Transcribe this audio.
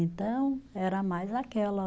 Então, era mais aquela.